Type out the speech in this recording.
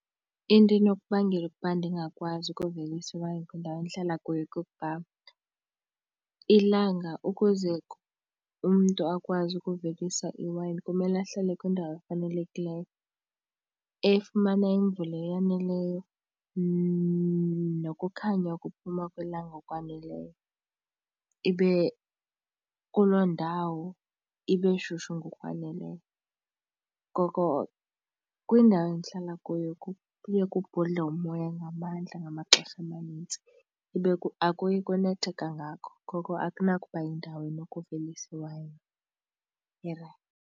Into enokubangela ukuba ndingakwazi ukuvelisa iwayini kwindawo endihlala kuyo kukuba ilanga ukuze umntu akwazi ukuvelisa iwayini kumele ahlale kwindawo efanelekileyo, efumana imvula eyaneleyo nokukhanya ukuphuma kwelanga okwaneleyo. Ibe kuloo ndawo ibe shushu ngokwaneleyo. Ngoko kwindawo endihlala kuyo kuye kubhudle umoya ngamandla ngamaxesha amanintsi ibe akuyi kunethe kangako, ngoko akanakuba yindawo entle enokuvelisa iwayini erayithi.